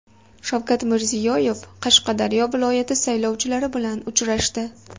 Shavkat Mirziyoyev Qashqadaryo viloyati saylovchilari bilan uchrashdi.